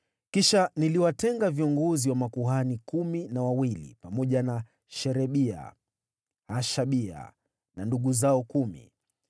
Kisha niliwatenga viongozi wa makuhani kumi na wawili, pamoja na Sherebia, Hashabia na ndugu zao kumi,